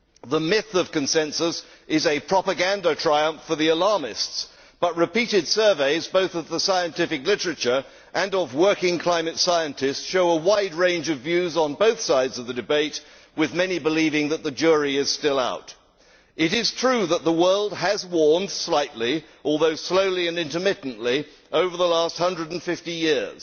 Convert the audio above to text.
The myth of consensus is a propaganda triumph for the alarmists, but repeated surveys both of the scientific literature and of working climate scientists show a wide range of views on both sides of the debate, with many believing that the jury is still out. It is true that the world has warmed slightly, although slowly and intermittently, over the last 150 years,